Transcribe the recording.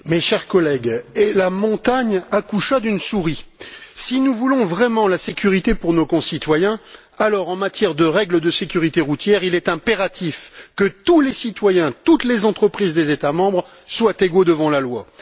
Monsieur le Président, chers collègues, et la montagne accoucha d'une souris. Si nous voulons vraiment la sécurité pour nos concitoyens, alors en matière de règles de sécurité routière, il est impératif que tous les citoyens et toutes les entreprises des États membres soient égaux devant la loi.